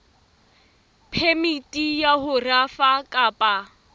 phemiti ya ho rafa kapa